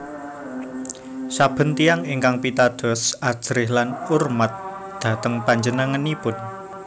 Saben tiyang ingkang pitados ajrih lan urmat dhateng panjenenganipun